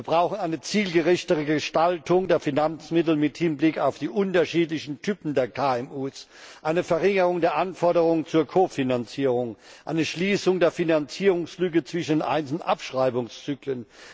Wir brauchen eine zielgerechtere Gestaltung der Finanzmittel im Hinblick auf die unterschiedlichen Typen der KMU, eine Verringerung der Anforderung zur Kofinanzierung, eine Schließung der Finanzierungslücke zwischen den einzelnen Abschreibungszyklen.